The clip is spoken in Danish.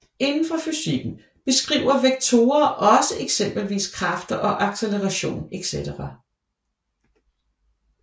Inden for fysikken beskriver vektorer også eksempelvis kræfter og acceleration etc